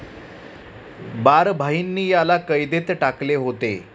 बारभाईंनी याला कैदेत टाकले होते.